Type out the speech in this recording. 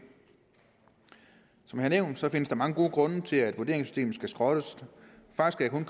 som jeg har nævnt findes der mange gode grunde til at vurderingssystemet skal skrottes faktisk kan